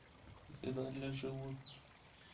еда для животных